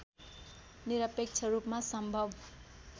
निरपेक्ष रूपमा सम्भव